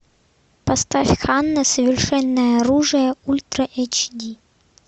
поставь ханна совершенное оружие ультра эйч ди